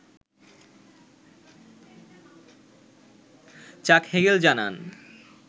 চাক হেগেল জানান